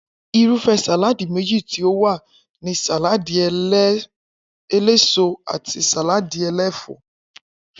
Irúfé̩ sàláadì méjì tí ó wà ni sàláàdì eléso àti sàláàdi e̩lé̩fò̩ó̩